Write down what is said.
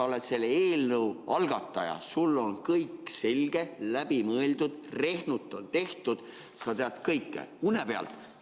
Sa oled selle eelnõu algataja, sul on kõik selge, läbi mõeldud, rehnut on tehtud, sa tead kõike une pealt.